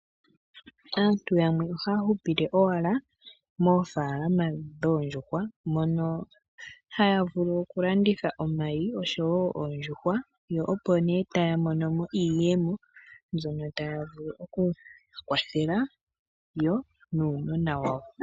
Aantu yamwe ohaya hupile owala moofaalama dhoondjuhwa, mono haya vulu okulanditha omayi, osho wo oondjuhwa, yo opo nduno taya mono mo iiyemo mbyono taya vulu okukwathela yo nuunona wayo.